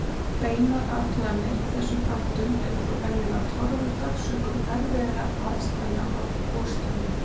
Beinar athuganir á þessum þáttum eru þó venjulega torveldar sökum erfiðra aðstæðna á gosstöðvum.